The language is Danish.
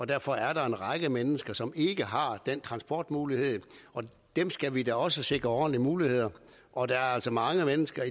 derfor er der en række mennesker som ikke har den transportmulighed og dem skal vi da også sikre ordentlige muligheder og der er altså mange mennesker